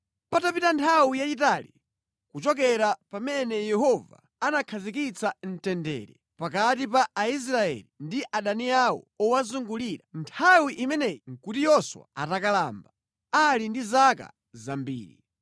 Panapita nthawi yayitali kuchokera pamene Yehova anakhazikitsa mtendere pakati pa Aisraeli ndi adani awo owazungulira. Nthawi imeneyi nʼkuti Yoswa atakalamba, ali ndi zaka zambiri.